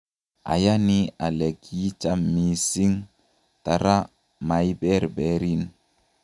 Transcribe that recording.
ayani ale kiicham mising' tara maiberberin